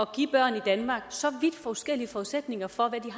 give børn i danmark så vidt forskellige forudsætninger for hvad